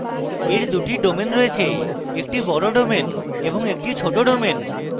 এর দুটি domain রয়েছে একটি বড় domain এবং একটি ছোট domain